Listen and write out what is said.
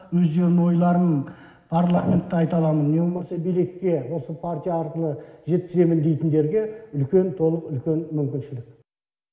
өздерінің ойларын парламентте айта аламын не болмаса билетке осы партия арқылы жеткіземін дейтіндерге үлкен толық үлкен мүмкіншілік